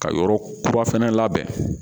Ka yɔrɔ kura fɛnɛ labɛn